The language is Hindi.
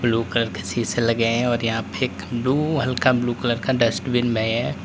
लोकल किसी से लगे हैं और यहां पर एक ब्लू हल्का ब्लू कलर का डस्टबिन नए हैं।